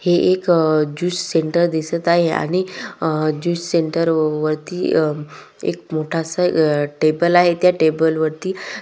हे एक juice centre दिसत आहे आणि अ ज्युस सेंटर व वरती अ एक मोठासा टेबल आहे त्या टेबल वरती --